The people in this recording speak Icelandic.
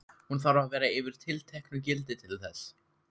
Hún þarf að vera yfir tilteknu gildi til þess.